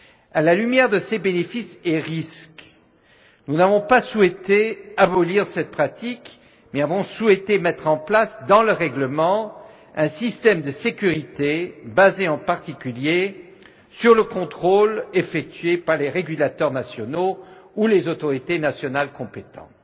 À la lumière de ces bénéfices et risques, nous n'avons pas souhaité abolir cette pratique, mais avons souhaité mettre en place dans le règlement, un système de sécurité basé, en particulier, sur le contrôle effectué par les régulateurs nationaux ou les autorités nationales compétentes.